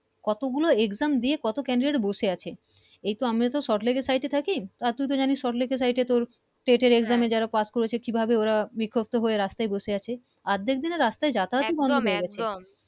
কত গুলো Exam দিয়ে কত Candidate বসে আছে এই তো আমরা salt lake থাকি তুই তো জানিস salt lake তোর Seat এর Exam এ যারা Pass করেছে কি ভাবে ওরা বিক্ষভতো হয়ে রাস্তায় বসে আছে আদেক দিন রাস্তায় যাতায়ত বন্ধ হয়ে গেছে